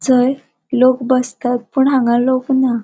लोक बसतात पुण हांगा लोक ना.